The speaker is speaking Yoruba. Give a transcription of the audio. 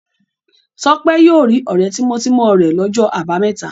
Tọ́pẹ́ yóò rí ọ̀rẹ́ tímọ́tímọ́ rẹ̀ lọ́jọ́ àbámẹ́ta.